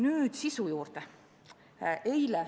Nüüd sisu juurde.